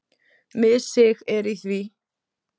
Missig er í því.